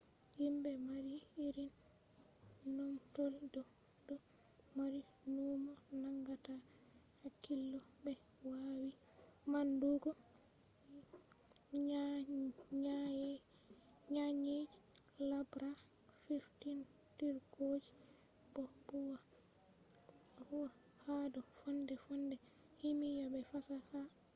himbe mari irin numtol do dó mari numo nangata hakkilo be wawi manndugo nyenyeji laabra firtindirgooji bo huwa hado fonde-fonde kimiya be fasaha